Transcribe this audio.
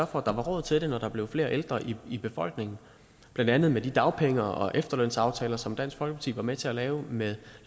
for at der var råd til det når der blev flere ældre i befolkningen blandt andet med de dagpenge og efterlønsaftaler som dansk folkeparti var med til at lave med